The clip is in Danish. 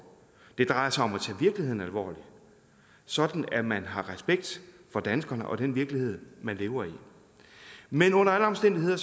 det drejer sig om at tage virkeligheden alvorligt sådan at man har respekt for danskerne og den virkelighed man lever i men under alle omstændigheder